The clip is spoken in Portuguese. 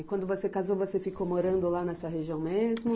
E quando você casou, você ficou morando lá nessa região mesmo?